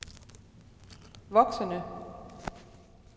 voksende